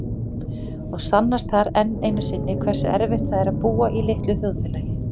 Og sannast þar enn einu sinni hversu erfitt það er að búa í litlu þjóðfélagi.